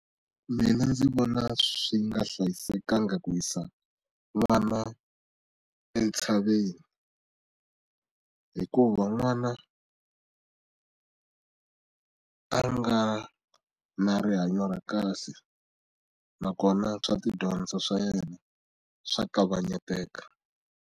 Mina ndzi vona swi nga hlayisekanga ku yisa vana entshaveni hikuva n'wana a a nga na rihanyo ra kahle na kona swa tidyondzo swa yena swa kavanyeteka.